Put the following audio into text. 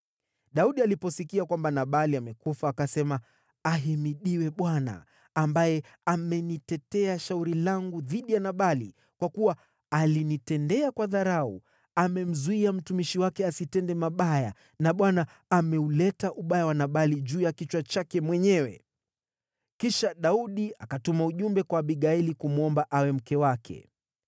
Daudi aliposikia kwamba Nabali amekufa, akasema, “Ahimidiwe Bwana , ambaye amenitetea shauri langu dhidi ya Nabali kwa kuwa alinitendea kwa dharau. Amemzuia mtumishi wake asitende mabaya na Bwana ameuleta ubaya wa Nabali juu ya kichwa chake mwenyewe.” Kisha Daudi akatuma ujumbe kwa Abigaili kumwomba awe mke wake.